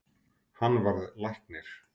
Hann varð læknir.